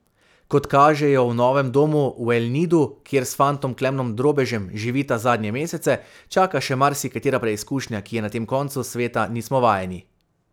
Kot kaže, jo v novem domu v El Nidu, kjer s fantom Klemnom Drobežem živita zadnje mesece, čaka še marsikatera preizkušnja, ki je na tem koncu sveta nismo vajeni.